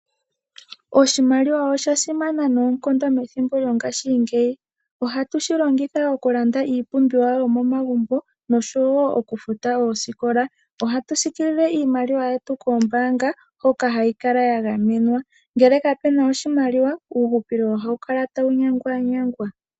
Oshimaliwa osha simana noonkondo methimbo lyongashingeyi. Ohatu shi longitha oku landa iipumbiwa yomomagumbo osho wo oku futa oosikola. Ohatu siikilile iimaliwa yetu koombaanga hoka ha yi kala ya gamenwa. Ngele ka pena oshimaliwa uuhupilo ohawu kala tawu nyangwanyangwa.